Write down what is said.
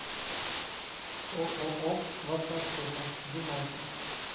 ооо ваша аптека ближайший